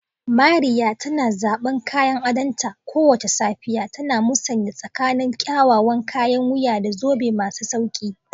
Mariya tana zaban kayan adonta kowace safiya, tana musanya tsakanin kyawawan kayan wuya da zobe masu sauƙi.